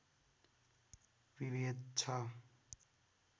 विभेद छ